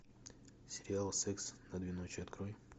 сериал секс на две ночи открой